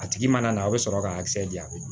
A tigi mana na a bɛ sɔrɔ ka di yan